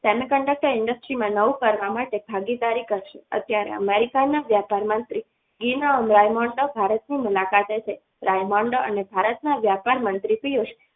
Semiconductor industries માં નવું કરવા માટે ભાગીદારી કરશે અત્યારે America ના વ્યાપાર મંત્રી ઘીના રેન્ડોમાં ભારતની મુલાકાતે છે રાયમંડળ અને ભારતના વેપાર મંત્રીશ્રીઓ